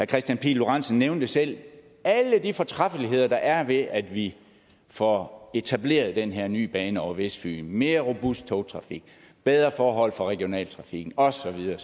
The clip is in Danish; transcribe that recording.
kristian pihl lorentzen nævnte selv alle de fortræffeligheder der er ved at vi får etableret den her ny bane over vestfyn mere robust togtrafik bedre forhold for regionaltrafikken og så videre